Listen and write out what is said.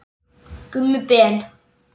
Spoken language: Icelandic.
Gummi Ben.